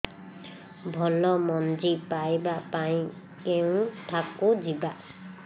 ଭଲ ମଞ୍ଜି ପାଇବା ପାଇଁ କେଉଁଠାକୁ ଯିବା